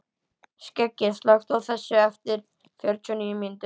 Skeggi, slökktu á þessu eftir fjörutíu og níu mínútur.